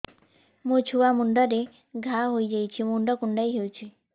ମୋ ଛୁଆ ମୁଣ୍ଡରେ ଘାଆ ହୋଇଯାଇଛି ମୁଣ୍ଡ କୁଣ୍ଡେଇ ହେଉଛି